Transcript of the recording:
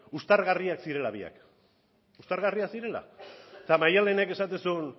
uztargarria zirela biak uztargarria zirela eta maddalenek esaten zuen